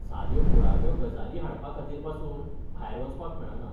साध्यो मुळाव्यो गजाली हाडपाखातीर पासून भायर वचपाक मेळना.